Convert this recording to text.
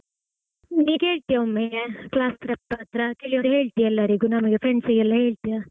ನೀ ಕೇಳ್ತಿಯ ಒಮ್ಮೇ class rep ಅತ್ರ ಕೇಳಿ ಹೇಳ್ತಿಯ ಎಲ್ಲರಿಗು ನಮಿಗೆ friends ಗೆಲ್ಲಾ ಹೇಳ್ತಿಯ?